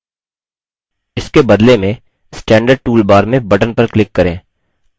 इसके बदले में standard tool bar में button पर click करें